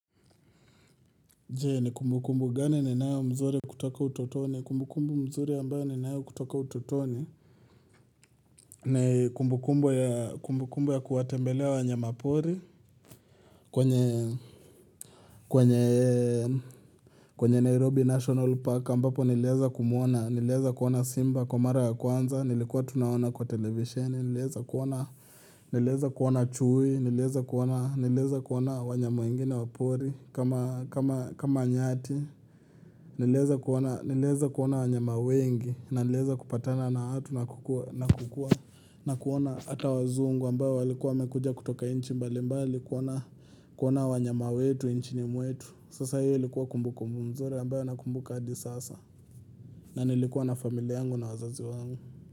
Je, ni kumbukumbu gani ninayo mzuri kutoka utotoni? Kumbukumbu mzuri ambayo ninayo kutoka utotoni ni kumbukumbu ya kuwatembelea wanyamapori. Kwenye, kwenye, kwenye Nairobi National Park, ambapo niliweza kumwona, niliweza kuona simba kwa mara ya kwanza, nilikuwa tu naona kwa televisheni, nilieza kuona, niliweza kuona chui, niliweza kuona, niliweza kuona wanyama wengine wa pori kama, kama, kama nyati. Niliweza kuona wanyama wengi na niliweza kupatana na watu na kukua na kuona ata wazungu ambao walikuwa wamekuja kutoka nchi mbalimbali kuona wanyama wetu nchini mwetu. Sasa hiyo ilikuwa kumbukumbu mzuri ambayo nakumbuka hadi sasa. Na nilikuwa na familia yangu na wazazi wangu.